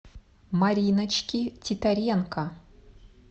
мариночки титаренко